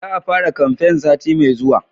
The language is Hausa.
Za a fara kamfen sati mai zuwa